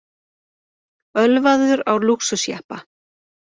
Ölvaður á lúxusjeppa